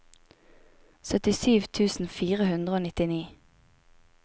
syttisju tusen fire hundre og nittini